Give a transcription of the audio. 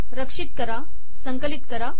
रक्षित करा संकलित करा